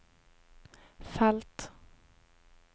felt